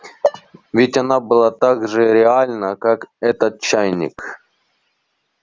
ведь она была так же реальна как этот чайник